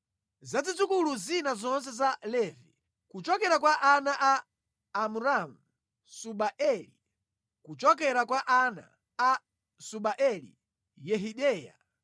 Za zidzukulu zina zonse za Levi: Kuchokera kwa ana a Amramu: Subaeli; kuchokera kwa ana a Subaeli: Yehideya.